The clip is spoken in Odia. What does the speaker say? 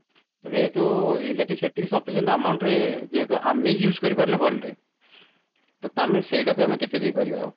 ତ ଯେହେତୁ electric ସେତିକି sufficient amount ରେ ଯେହେତୁ ଆମେ use କରି ପାରୁନେ ଭଲରେ ତ ଆମେ ସେଇଟାକୁ ଆମେ କେତେ ଦେଇ ପାରିବା